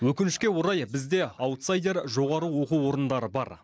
өкінішке орай бізде аутсайдер жоғары оқу орындары бар